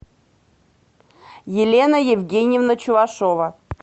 елена евгеньевна чувашова